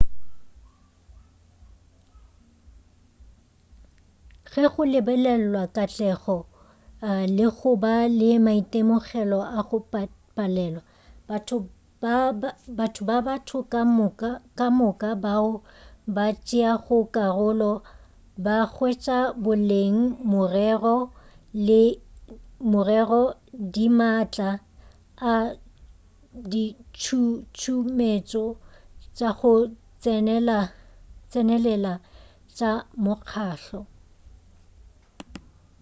ge go lebelelwa katlego le go ba le maitemogelo a go palelwa batho le batho ka moka bao ba tšeago karolo ba hwetša boleng morero di maatla a ditšhutšumetšo tša go tsenelela tša mokgahlo